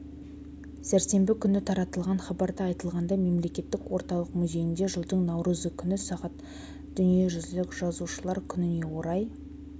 сәрсенбі күні таратылған хабарда айтылғандай мемлекеттік орталық музейінде жылдың наурызы күні сағ дүниежүзілік жазушылар күніне орай